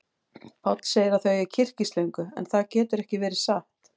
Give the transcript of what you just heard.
Páll segir að þau eigi kyrkislöngu, en það getur ekki verið satt.